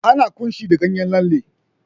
Ana ƙunshi da ganyen lalle.